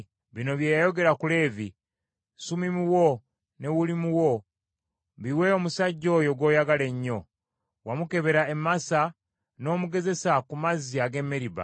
Bino bye yayogera ku Leevi: “Sumimu wo ne Ulimu wo biwe omusajja oyo gw’oyagala ennyo. Wamukebera e Masa n’omugezesa ku mazzi ag’e Meriba.